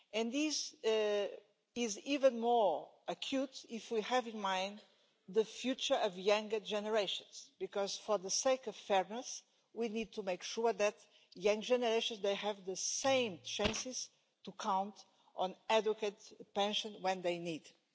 This is even more acute if we have in mind the future of younger generations because, for the sake of fairness, we need to make sure that young generations have the same chances to count on an adequate pension when they need it.